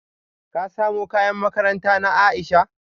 Ka samo kayan makaranta na Aisha?